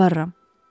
Nə yalvarıram.